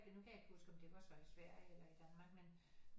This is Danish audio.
Nu kan jeg ikke huske om det var så i Sverige eller i Danmark men